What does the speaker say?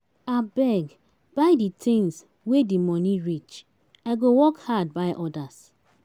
Abeg buy di tins wey di moni reach, I go work hard buy odas.